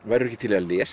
ekki til í að lesa